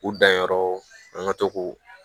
U danyɔrɔ an ka to k'o